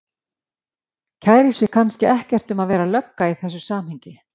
Kærir sig kannski ekkert um að vera lögga í þessu samhengi.